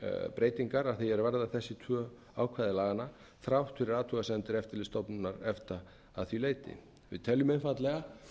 breytingar að því er varðar þessi tvö ákvæði laganna þrátt fyrir athugasemdir eftirlitsstofnunar efta að því leyti við teljum einfaldlega